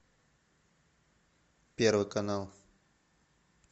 первый канал